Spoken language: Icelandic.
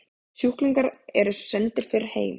Sjúklingar eru sendir fyrr heim